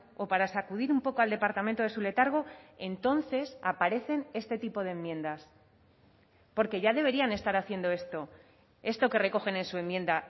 o para sacudir un poco al departamento de su letargo entonces aparecen este tipo de enmiendas porque ya deberían estar haciendo esto esto que recogen en su enmienda